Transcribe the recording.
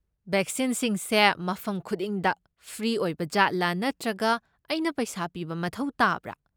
ꯕꯦꯛꯁꯤꯟꯁꯤꯡꯁꯦ ꯃꯐꯝ ꯈꯨꯗꯤꯡꯗ ꯐ꯭ꯔꯤ ꯑꯣꯏꯕꯖꯥꯠꯂꯥ ꯅꯠꯇ꯭ꯔꯒ ꯑꯩꯅ ꯄꯩꯁꯥ ꯄꯤꯕ ꯃꯊꯧ ꯇꯥꯕ꯭ꯔꯥ?